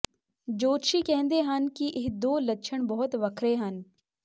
ਜੋਤਸ਼ੀ ਕਹਿੰਦੇ ਹਨ ਕਿ ਇਹ ਦੋ ਲੱਛਣ ਬਹੁਤ ਵੱਖਰੇ ਹਨ